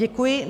Děkuji.